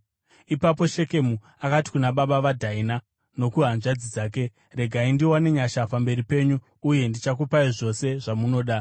Ipapo Shekemu akati kuna baba vaDhaina nokuhanzvadzi dzake, “Regai ndiwane nyasha pamberi penyu, uye ndichakupai zvose zvamunoda.